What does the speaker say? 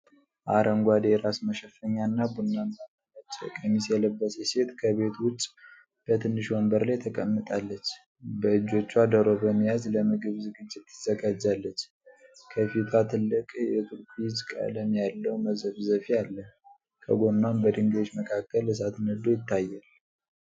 አረንጓዴ የራስ መሸፈኛ እና ቡናማና ነጭ ቀሚስ የለበሰች ሴት ከቤት ውጭ በትንሽ ወንበር ላይ ተቀምጣለች። በእጆቿ ዶሮ በመያዝ ለምግብ ዝግጅት ታዘጋጃለች። ከፊቷ ትልቅ የቱርኩይዝ ቀለም ያለው መዘፍዘፊያ አለ፣ ከጎኗም በድንጋዮች መካከል እሳት ነዶ ይታያል።